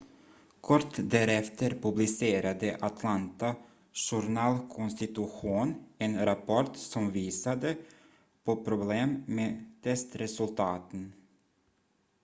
kort därefter publicerade atlanta journal-constitution en rapport som visade på problem med testresultaten